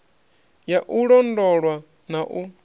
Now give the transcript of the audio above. ya u londolwa na u